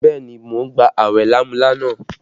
Bẹẹ ni, mo ń gba awẹ lámúlánà